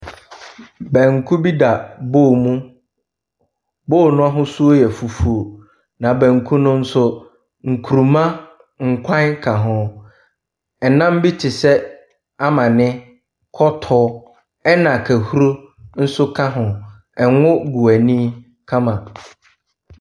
Banku bi da bowl mu. Bowl no ahosuo yɛ fufuo, na banku no nso, nkuruma nkwan ka ho. Nnam bi te sɛ, amane, kɔtɔ na kahuro nso ka ho. Ngo gu ani kama.